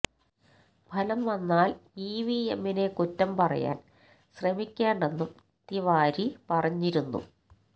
ഫലം വന്നാല് ഇവിഎമ്മിനെ കുറ്റം പറയാന് ശ്രമിക്കേണ്ടെന്നും തിവാരി പറഞ്ഞിരുന്നു